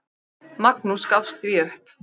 Magnús gafst því upp.